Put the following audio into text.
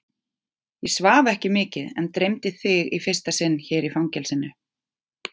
Ég svaf ekki mikið en dreymdi þig í fyrsta sinn hér í fangelsinu.